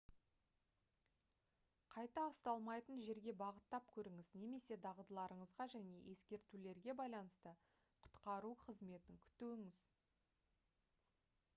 қайта ұсталмайтын жерге бағыттап көріңіз немесе дағдыларыңызға және ескертулерге байланысты құтқару қызметін күтуіңіз